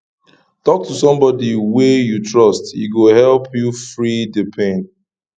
tok to somebodi wey you trust e go help you free di pain